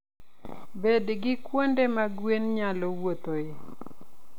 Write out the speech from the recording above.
Bed gi kuonde ma gwen nyalo wuothoe.